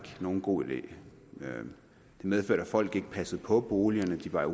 nogen god idé det medførte at folk ikke passede på boligerne de var